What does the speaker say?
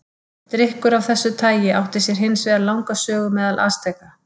Drykkur af þessu tagi átti sér hins vegar langa sögu meðal Asteka.